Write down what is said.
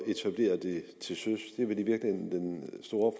etablere det til søs det er vel i virkeligheden den store